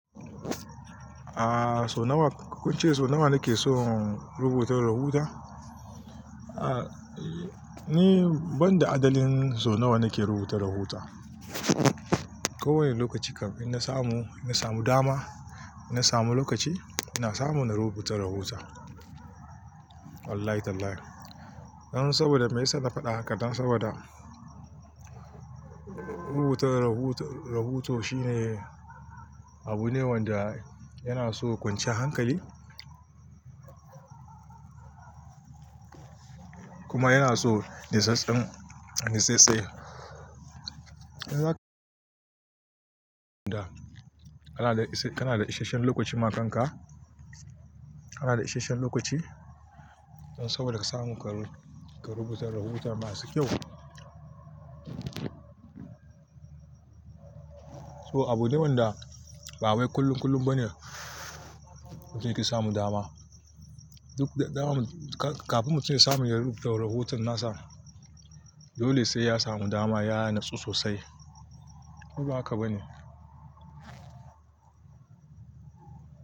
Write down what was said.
A sau nawa kun ce nake son rubuta. Mumbles. Aaa, ni banda adadin sau nawa nake rubuta rahoto ko wane lokaci kam in na samu, in na samu dama, in na samu lokaci, ina samu ina rubuta rahoto. Wallahi tallahi. Dan saboda me ya sa na faɗa haka? Dan saboda rubutar rahoto, rahoto shine abune wanda yana so kwanciyar hankali. Kuma yana so nitsattse kana da ishasshen lokaci ma kan ka kana da isashen lokaci don saboda ka samu ka rubuta rahoto masu kyau. So abu ne wanda ba wai kullum kullum bane mutum yake samu dama. Duk dama, kafin mutum ya samu ya rubuta rahoton nasa, dole sai ya samu dama ya natsu sosai. Ko ba haka bane.